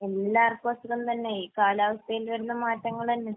എല്ലാവർക്കും അസുഖം തന്നെ. ഈ കാലാവസ്ഥയിൽ വരുന്ന മാറ്റങ്ങൾ തന്നെ.